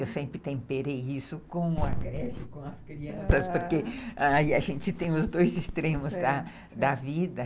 Eu sempre temperei isso com a greve, com as crianças, porque aí a gente tem os dois extremos da vida.